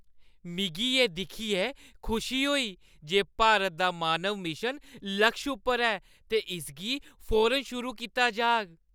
मिगी एह् दिक्खियै खुशी होई जे भारत दा मानव मिशन लक्ष उप्पर ऐ ते इसगी फौरन शुरू कीता जाह्‌ग।